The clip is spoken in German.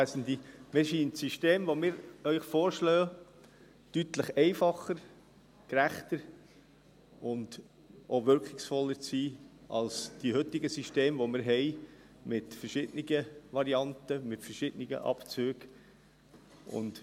Mir scheint das System, das wir Ihnen vorschlagen, deutlich einfacher, gerechter und auch wirkungsvoller zu sein als die heutigen Systeme, die wir haben, mit verschiedenen Varianten, mit verschiedenen Abzügen.